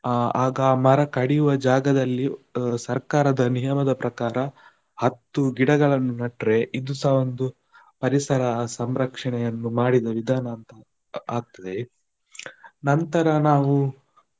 ಅಹ್ ಆಗ ಮರ ಕಡಿಯುವ ಜಾಗದಲ್ಲಿ ಅ ಸರ್ಕಾರದ ನಿಯಮದ ಪ್ರಕಾರ, ಹತ್ತು ಗಿಡಗಳನ್ನು ನೆಟ್ಟರೆ ಇದುಸ ಒಂದು ಪರಿಸರ ಸಂರಕ್ಷಣೆಯನ್ನು ಮಾಡಿದ ವಿಧಾನ ಅಂತ ಆಗ್ತದೆ, ನಂತರ ನಾವು.